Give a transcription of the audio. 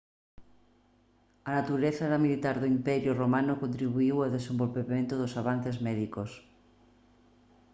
a natureza militar do imperio romano contribuíu ao desenvolvemento dos avances médicos